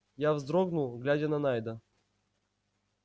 я вздрогнул глядя на найда